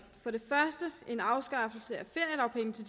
det første element en afskaffelse af feriedagpenge til